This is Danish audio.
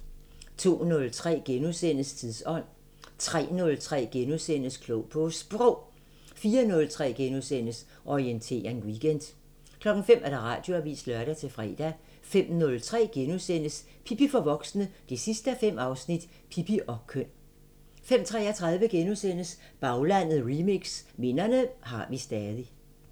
02:03: Tidsånd * 03:03: Klog på Sprog * 04:03: Orientering Weekend * 05:00: Radioavisen (lør-fre) 05:03: Pippi for voksne 5:5 – Pippi og køn * 05:33: Baglandet Remix: Minderne har vi stadig *